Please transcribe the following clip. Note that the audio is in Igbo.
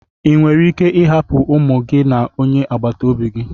Ị nwere ike ịhapụ ụmụ gị na onye agbata obi?